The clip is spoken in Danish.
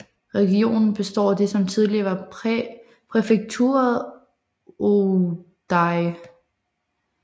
Regionen består af det som tidligere var præfekturet Ouaddaï